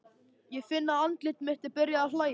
Ég finn að andlit mitt er byrjað að hlæja.